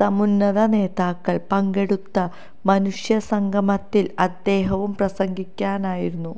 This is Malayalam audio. സമുന്നത നേതാക്കള് പങ്കെടുത്ത മനുഷ്യ സംഗമത്തില് അദ്ദേഹവും പ്രാസംഗികനായിരുന്നു